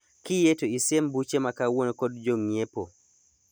Kiyie to isiem buche ma kawuono kod jo ng'iepo.